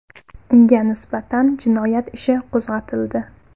Unga nisbatan jinoyat ishi qo‘zg‘atildi.